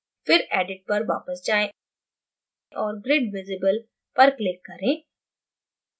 फिर edit पर वापस जायें और grid visible पर click करें